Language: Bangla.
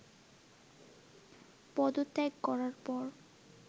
পদত্যাগ করার পর